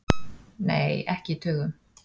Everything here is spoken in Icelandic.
Nei, ekki í tugum.